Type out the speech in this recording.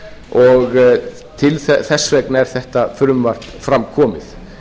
og þess vegna er þetta fruvmarp fram komið